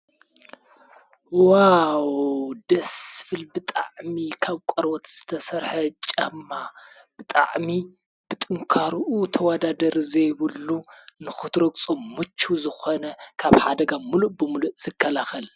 ዋው ደስ ዝብል ብጣዕሚ ካብ ቆርበት ዝተሰርሐ ጫማ ብጣዕሚ ብጥንካርኡ ተውዳዳሪ ዘይብሉ ንክትረግፆ ምቹው ዝኮነ ካብ ሓደጋ ምሉእ ብምሉእ ዝከላከል ።